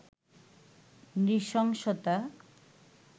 নৃশংসতা